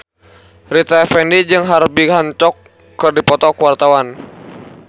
Rita Effendy jeung Herbie Hancock keur dipoto ku wartawan